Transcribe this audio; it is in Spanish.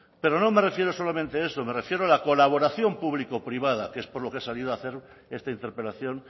pero no me refiero solamente a eso me refiero a la colaboración público privada que es por lo que he salido a hacer esta interpelación